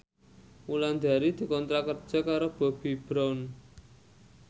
Wulandari dikontrak kerja karo Bobbi Brown